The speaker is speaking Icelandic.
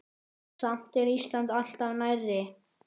Samt er Ísland alltaf nærri.